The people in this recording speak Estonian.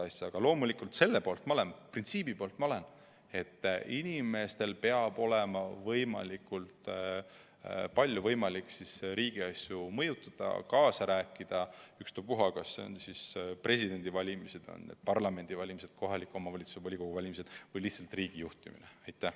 Aga loomulikult selle printsiibi poolt ma olen, et inimestel peab olema võimalik võimalikult palju riigiasju mõjutada ja kaasa rääkida, ükstapuha kas see puudutab presidendivalimisi, parlamendivalimisi, kohaliku omavalitsuse volikogu valimisi või lihtsalt riigijuhtimist.